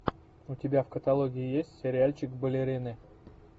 у тебя в каталоге есть сериальчик балерины